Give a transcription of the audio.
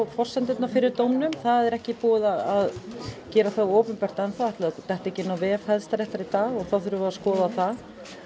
forsendurnar fyrir dómnum það er ekki búið að gera það opinbert ætli það detti ekki inn á vef Hæstaréttar í dag og þá þurfum við að skoða það